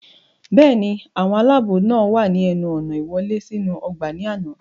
bẹ́ẹ̀ni, àwọn aláàbò náà wà ní ẹnu ọ̀nà ìwọlé sínú ọgbà ní àná